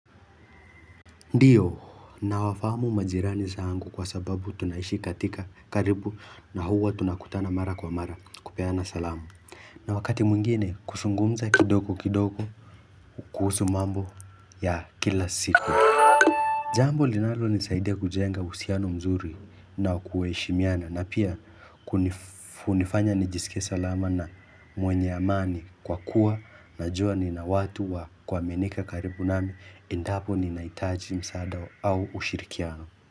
Ndio na wafamu majirani zangu kwa sababu tunaishi katika karibu na huwa tunakutana mara kwa mara kupeana salamu na wakati mwingine kusungumza kidogo kidogo kuhusu mambo ya kila siku Jambo linalo nisaidia kujenga husiano mzuri na kuheishimiana na pia Kunif kunifanya nijisikie salama na mwenye amani kwa kuwa najua ni na watu wa kua minika karibu nami endapo ni naitaji msaada au ushirikiano.